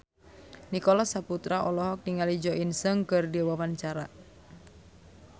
Nicholas Saputra olohok ningali Jo In Sung keur diwawancara